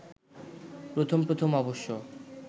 প্রথম প্রথম অবশ্য